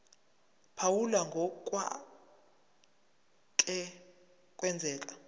phawula ngokwake kwenzeka